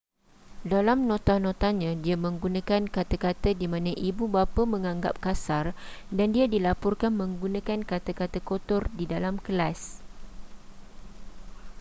dalam nota-notanya dia menggunakan kata-kata di mana ibu bapa menganggap kasar dan dia dilaporkan menggunakan kata-kata kotor di dalam kelas